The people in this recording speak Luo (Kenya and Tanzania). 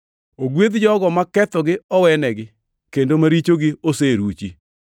“Ogwedh jogo ma kethogi owenegi, kendo ma richogi oseruchi.